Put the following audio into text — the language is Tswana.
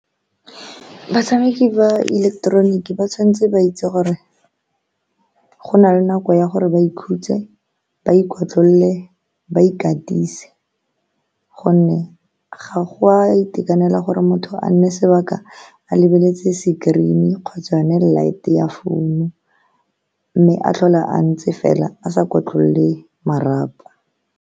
Batshameki ba ileketeroniki ba tshwanetse ba itse gore go na le nako ya gore ba ikhutse, ba ikotlolole, ba ikatise, ka gonne ga go a itekanela gore motho a nne sebaka a lebeletse screen-i kgotsa yone light-e ya founu, mme a tlhola a ntse fela a sa ikotlolole marapo.